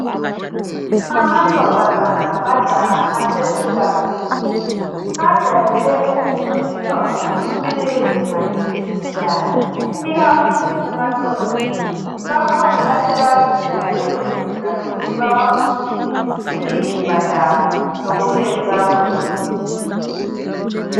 Amantombazana lamajaha asekhulakhulile ,ajayele ukufundiswa ngokuthi kumele beziphathe njani ikakhulu emasontweni. Bakhona asebazinika leso skhundla sokuthi babafundise ngemizimba yabo lokumele bakwenze.